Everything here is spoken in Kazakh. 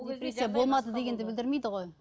депрессия болмады дегенді білдірмейді ғой